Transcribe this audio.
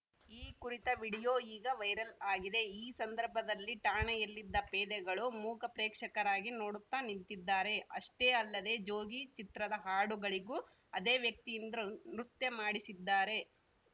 ಈ ಕುರಿತ ವಿಡಿಯೋ ಈಗ ವೈರಲ್‌ ಆಗಿದೆ ಈ ಸಂದರ್ಭದಲ್ಲಿ ಠಾಣೆಯಲ್ಲಿದ್ದ ಪೇದೆಗಳು ಮೂಕ ಪ್ರೇಕ್ಷಕರಾಗಿ ನೋಡುತ್ತಾ ನಿಂತಿದ್ದಾರೆ ಅಷ್ಟೇ ಅಲ್ಲದೆ ಜೋಗಿ ಚಿತ್ರದ ಹಾಡುಗಳಿಗೂ ಅದೇ ವ್ಯಕ್ತಿಯಿಂದ್ರ ನೃತ್ಯ ಮಾಡಿಸಿದ್ದಾರೆ